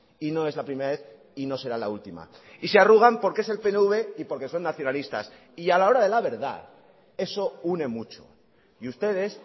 y no es la primera vez y no será la última y se arrugan porque es el pnv y porque son nacionalistas y a la hora de la verdad eso une mucho y ustedes